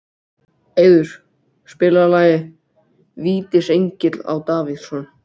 Eiður, spilaðu lagið „Vítisengill á Davidson“.